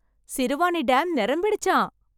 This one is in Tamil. சிறுவாணி டேம் நிரம்பிடுச்சாம்.